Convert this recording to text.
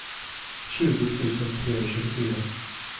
tjugo tusen trehundratjugofyra